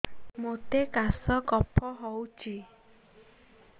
ମୋତେ କାଶ କଫ ହଉଚି